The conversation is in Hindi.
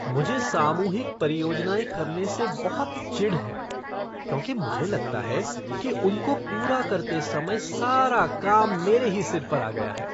मुझे सामूहिक परियोजनाएं करने से बहुत चिढ़ है क्योंकि मुझे लगता है कि उनको पूरा करते समय सारा काम मेरे ही सिर पर आ गया है।